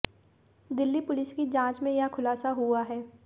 Delhi police की जांच में यह खुलासा हुआ है